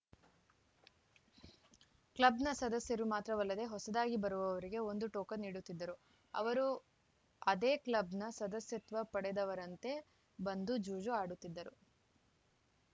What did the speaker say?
ಕ್ಲಬ್‌ನ ಸದಸ್ಯರು ಮಾತ್ರವಲ್ಲದೆ ಹೊಸದಾಗಿ ಬರುವವರಿಗೆ ಒಂದು ಟೋಕನ್‌ ನೀಡುತ್ತಿದ್ದರು ಅವರು ಅದೇ ಕ್ಲಬ್‌ನ ಸದಸ್ಯತ್ವ ಪಡೆದವರಂತೆ ಬಂದು ಜೂಜು ಆಡುತ್ತಿದ್ದರು